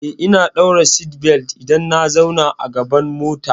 Eh, ina ɗaura seatbelt idan na zauna a gaban mota.